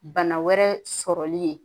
Bana wɛrɛ sɔrɔli ye